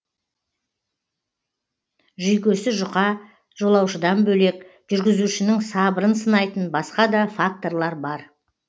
жүйкесі жұқа жолаушыдан бөлек жүргізушінің сабырын сынайтын басқа да факторлар бар